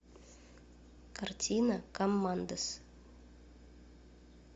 картина коммандос